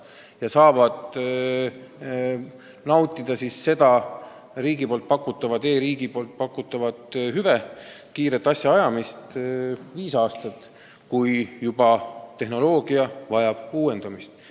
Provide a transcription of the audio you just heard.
Nad saavad nautida kiiret asjaajamist ja seda e-riigi pakutavat hüvet viis aastat, mille järel vajab tehnoloogia juba uuendamist.